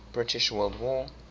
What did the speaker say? british world war